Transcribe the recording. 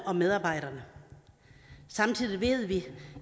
og medarbejderne samtidig ved vi